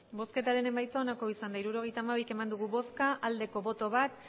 hirurogeita hamabi eman dugu bozka bat bai